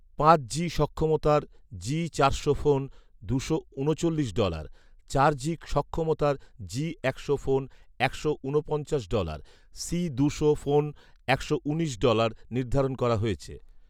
পাঁচ জি সক্ষমতার জি চারশো ফোন দুশো ঊনচল্লিশ ডলার, চার জি সক্ষমতার জি একশো ফোন একশো ঊনপঞ্চাশ ডলার, সি দুশো ফোন একশো উনিশ ডলার নির্ধারণ করা হয়েছে